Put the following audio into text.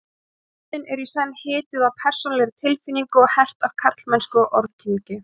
Kvæðin eru í senn hituð af persónulegri tilfinningu og hert af karlmennsku og orðkynngi.